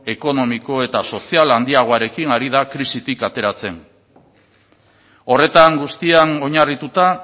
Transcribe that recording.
ekonomiko eta sozial handiagoarekin ari da krisitik ateratzen horretan guztian oinarrituta